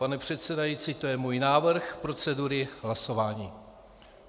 Pane předsedající, to je můj návrh procedury hlasování.